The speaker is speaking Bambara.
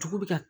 Dugu bɛ ka